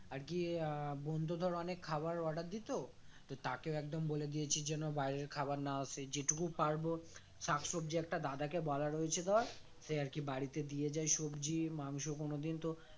আগে আহ বোন তো ধর অনেক খাবার order দিত তো তাকেও একদম বলে দিয়েছি যেন বাইরের খাবার না আসে যেটুকু পারবো শাকসব্জি একটা দাদাকে বলা রয়েছে ধর সে আর কি বাড়িতে দিয়ে যায় সবজি মাংস কোনোদিন তো